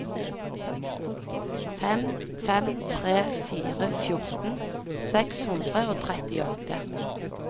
fem fem tre fire fjorten seks hundre og trettiåtte